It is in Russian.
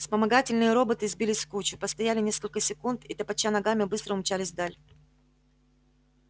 вспомогательные роботы сбились в кучу постояли несколько секунд и топоча ногами быстро умчались вдаль